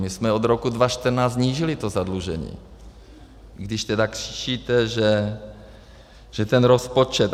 My jsme od roku 2014 snížili to zadlužení, když teda křičíte, že ten rozpočet.